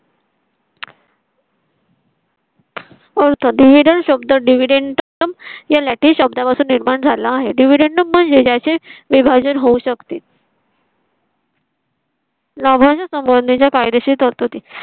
अर्थ dividend शब्द या latin शब्दा पासून निर्माण झाला आहे. dividend म्हणजे त्याचे विभाजन होऊ शकते. लाभांश संबंधीच्या कायदेशीर तरतुदी